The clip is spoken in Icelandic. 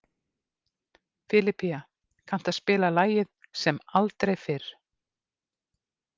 Filipía, kanntu að spila lagið „Sem aldrei fyrr“?